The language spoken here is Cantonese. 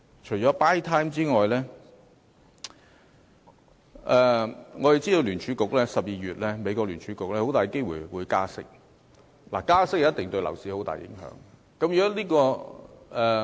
除了 "buy time" 外，我們知道美國聯邦儲備局在12月有很大機會加息，而加息對樓市一定會有很大影響。